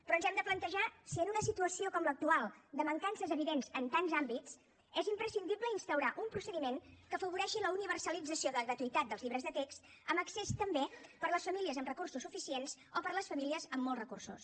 però ens hem de plantejar si en una situació com l’actual de mancances evidents en tants àmbits és imprescindible instaurar un procediment que afavoreixi la universalització de la gratuïtat dels llibres de text amb accés també per a les famílies amb recursos suficients o per a les famílies amb molts recursos